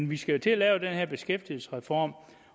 vi skal til at lave den her beskæftigelsesreform